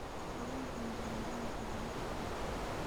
Awooda mparaganza waa mid culus.